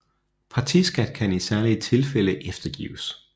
Partiskat kan i særlige tilfælde eftergives